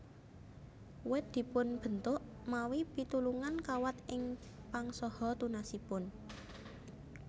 Wit dipunbentuk mawi pitulungan kawat ing pang saha tunasipun